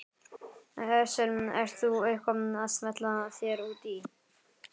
Hersir: Ert þú eitthvað að smella þér út í?